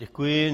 Děkuji.